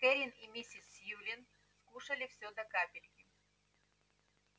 кэррин и миссис сьюлин скушали всё до капельки